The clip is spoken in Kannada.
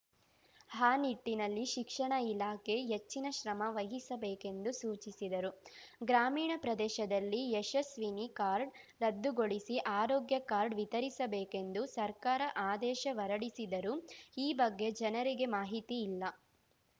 ಆ ನಿಟ್ಟಿನಲ್ಲಿ ಶಿಕ್ಷಣ ಇಲಾಖೆ ಹೆಚ್ಚಿನ ಶ್ರಮ ವಹಿಸಬೇಕೆಂದು ಸೂಚಿಸಿದರು ಗ್ರಾಮೀಣ ಪ್ರದೇಶದಲ್ಲಿ ಯಶಸ್ವಿನಿ ಕಾರ್ಡ್‌ ರದ್ದುಗೊಳಿಸಿ ಆರೋಗ್ಯ ಕಾರ್ಡ್‌ ವಿತರಿಸಬೇಕೆಂದು ಸರ್ಕಾರ ಆದೇಶ ಹೊರಡಿಸಿದರೂ ಈ ಬಗ್ಗೆ ಜನರಿಗೆ ಮಾಹಿತಿ ಇಲ್ಲ